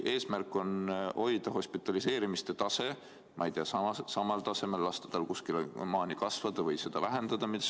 Kas eesmärk on hoida hospitaliseerimine, ma ei tea, samal tasemel, lasta tal teatud maani kasvada või seda vähendada?